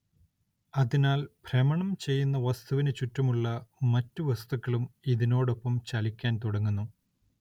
അതിനാൽ ഭ്രമണം ചെയ്യുന്ന വസ്തുവിനു ചുറ്റുമുള്ള മറ്റു വസ്തുക്കളും ഇതിനോടൊപ്പം ചലിക്കാൻ തുടങ്ങുന്നു.